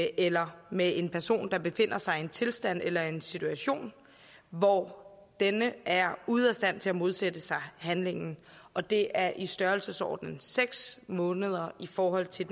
eller med en person der befinder sig i en tilstand eller en situation hvor denne er ude af stand til at modsætte sig handlingen og det er i størrelsesordenen seks måneder i forhold til